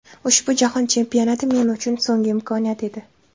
Ushbu Jahon Chempionati men uchun so‘nggi imkoniyat edi.